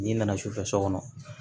N'i nana sufɛ so kɔnɔ